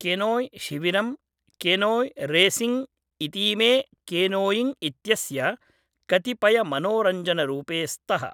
केनोय् शिविरम्, canoe racing इतीमे canoeing इत्यस्य कतिपयमनोरञ्जनरूपे स्तः।